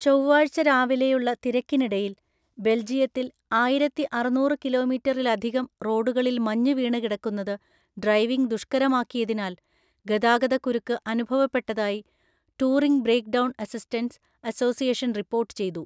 ചൊവ്വാഴ്ച രാവിലെയുള്ള തിരക്കിനിടയിൽ ബെൽജിയത്തിൽ ആയിരത്തി അറുനൂറു കിലോമീറ്ററിലധികം റോഡുകളിൽ മഞ്ഞ് വീണുകിടക്കുന്നത് ഡ്രൈവിംഗ് ദുഷ്കരമാക്കിയതിനാൽ ഗതാഗതക്കുരുക്ക് അനുഭവപ്പെട്ടതായി touring breakdown assistance association report ചെയ്തു.